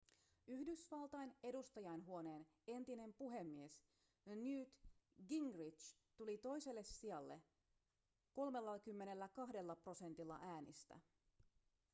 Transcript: yhdysvaltain edustajainhuoneen entinen puhemies newt gingrich tuli toiselle sijalle 32 prosentilla äänistä